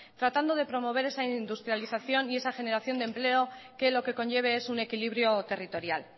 tratando de promover esa industrialización y esa generación de empleo que lo que conlleve es un equilibrio territorial